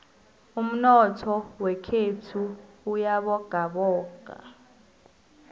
umnotho wekhethu uyabogaboga